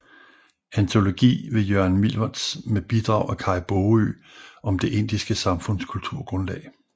Antologi ved Jørgen Milwertz med bidrag af Kaj Baagø om det indiske samfunds kulturgrundlag